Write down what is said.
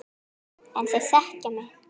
En þeir þekkja mig.